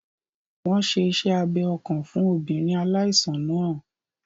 Wọ́n n ṣe iṣẹ́ abẹ ọkàn fún obìnrin aláìsàn náà